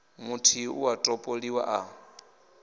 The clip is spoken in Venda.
muthihi u a topoliwa a